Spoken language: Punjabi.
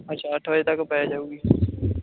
ਅੱਛਾ ਅੱਠ ਵਜੇ ਤਕ ਪੈ ਜਾਊਗੀ